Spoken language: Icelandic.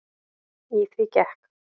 Í því gekk